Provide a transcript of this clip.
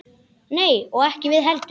Nei og ekki við heldur.